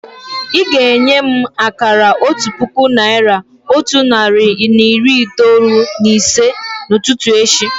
Ị́ ga-enye m akara otu puku naị́ra, otu narị na iri itoolu na ise n'ụtụtụ echi